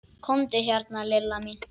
Komdu hérna Lilla mín.